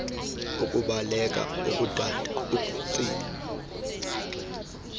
ukubaleka ukudada uktsiba